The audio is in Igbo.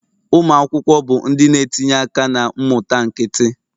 Ụmụ akwụkwọ bụ ndị na-etinye aka na mmụta nkịtị